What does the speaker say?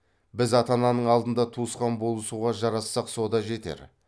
біз ата ананың алдында туысқан болысуға жарасақ со да жетер